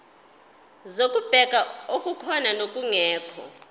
zokubheka okukhona nokungekho